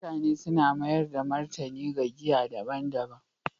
mutane suna mayar da martani ga giya daban-daban